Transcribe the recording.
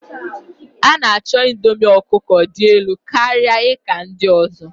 A'nacho indomie ọkụkọ dị elu karịa ika ndị ọzọ.